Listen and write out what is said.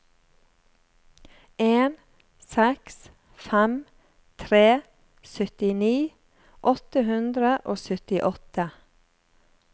en seks fem tre syttini åtte hundre og syttiåtte